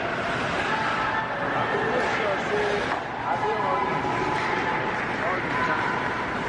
I go make sure sey I dey honest wit pipo all di time.